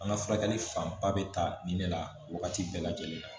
An ka furakɛli fanba bɛ ta nin de la wagati bɛɛ lajɛlen na